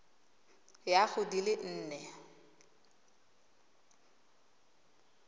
ya go di le nne